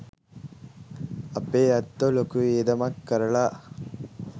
අපේ ඇත්තෝ ලොකු වියදමක් කරලා